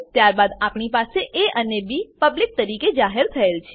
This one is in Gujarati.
ત્યારબાદ આપણી પાસે એ અને બી પબ્લિક તરીકે જાહેર થયેલ છે